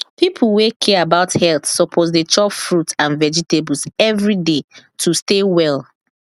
people wey care about health suppose dey chop fruit and vegetables every day to stay well